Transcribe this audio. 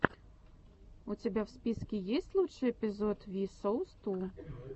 у тебя в списке есть лучший эпизод ви соус ту